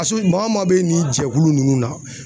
maa maa bɛ nin jɛkulu ninnu na